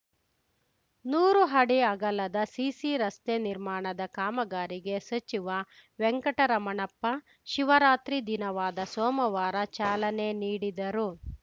ನೂರು ಅಡಿ ಅಗಲದ ಸಿಸಿ ರಸ್ತೆ ನಿರ್ಮಾಣದ ಕಾಮಗಾರಿಗೆ ಸಚಿವ ವೆಂಕಟರಮಣಪ್ಪ ಶಿವರಾತ್ರಿ ದಿನವಾದ ಸೋಮವಾರ ಚಾಲನೆ ನೀಡಿದರು